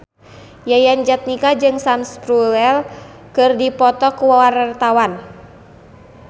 Yayan Jatnika jeung Sam Spruell keur dipoto ku wartawan